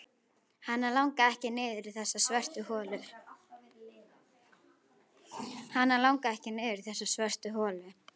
Hana langaði ekki niður í þessa svörtu holu.